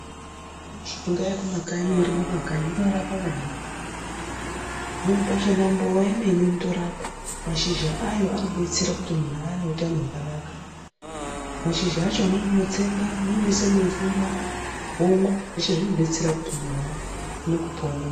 Mishonga yeku makanyi ino rimwa mu makanyi inorapa maningi pamweni pa chona mbowa yemene inotorapa mashizha ayo ano detsera kuti munhu awe ne utano hwakanaka mashizha acho amweni unotsenga amweni unoisa mu mvura womwa zvese zvino detsera kuti muntu awane kupora.